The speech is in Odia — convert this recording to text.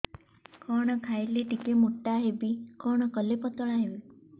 କଣ ଖାଇଲେ ଟିକେ ମୁଟା ହେବି କଣ କଲେ ପତଳା ହେବି